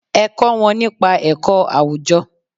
Ẹ kó wọn nípa ẹ̀kọ́ àwùjọ.